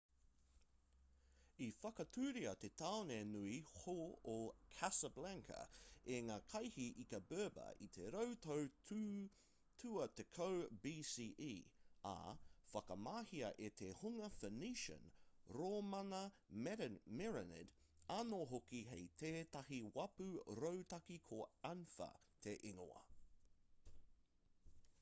i whakatūria te tāone nui hou o casablanca e ngā kaihī ika berber i te rau tau tuatekau bce ā i whakamahia e te hunga phoenician rōmana merenid anō hoki hei tētahi wāpu rautaki ko anfa te ingoa